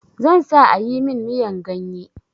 Zan sa a yi min miyan ganye.